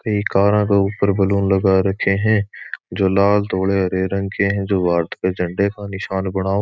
कई कार आ के ऊपर बलून लगा रखे है जो लाल धोले हरे रंग के जो भारत के झंडे का निशान बना --